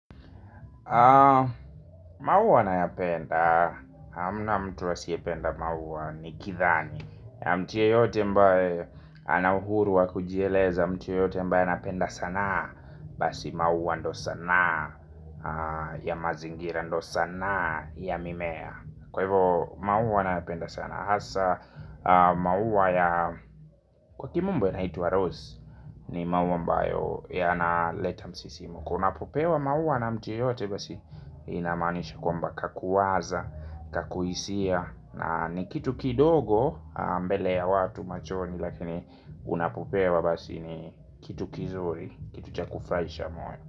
Maua nayapenda hamna mtu asiyependa mauwa ni kidhani. Mtu yeyote mbaye ana uhuruwa wa kujieleza mtu yoyote ambaye anapenda sanaa. Basi maua ndo sanaa ya mazingira ndo sanaa ya mimea. Kwa hivo maua ninayopenda sana. Hasa maua ya kwa kimombo yanaitwa Rose ni maua ambayo yanaleta msisimko unapopewa maua na mtu yeyote basi inamaanisha kwamba kakuwaza kakuhisia ni kitu kidogo mbele ya watu machoni. Lakini unapopewa basi ni kitu kizuri kitu cha kufuraisha moyo.